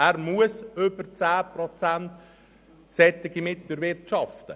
Er muss über 10 Prozent Drittmittel erwirtschaften.